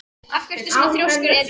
Af hverju ertu svona þrjóskur, Edil?